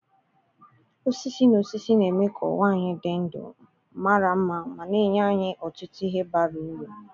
osisi na osisi na-eme ka ụwa anyị dị ndụ, mara mma ma na-enye anyị ọtụtụ ihe bara uru.